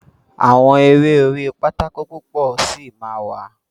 Àwọn eré orí pátákó púpọ sí má wá.